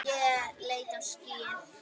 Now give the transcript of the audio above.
Ég leit á skýið.